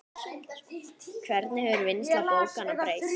Hvernig hefur vinnsla bókanna breyst?